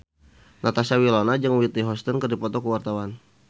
Natasha Wilona jeung Whitney Houston keur dipoto ku wartawan